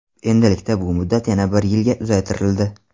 Endilikda bu muddat yana bir yilga uzaytirildi.